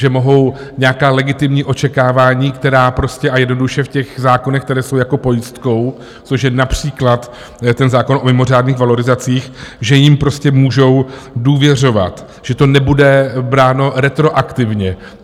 Že mohou nějaká legitimní očekávání, která prostě a jednoduše v těch zákonech, které jsou jako pojistkou, což je například ten zákon o mimořádných valorizacích, že jim prostě můžou důvěřovat, že to nebude bráno retroaktivně.